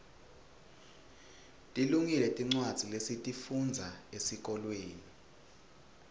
tilungile tincwadza lesitifundza esikolweni